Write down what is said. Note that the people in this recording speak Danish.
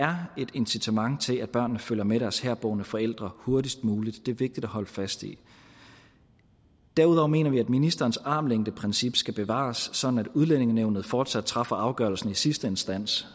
incitament til at børnene følger med deres herboende forældre hurtigst muligt det er vigtigt at holde fast i derudover mener vi at ministerens armslængdeprincip skal bevares sådan at udlændingenævnet fortsat træffer afgørelsen i sidste instans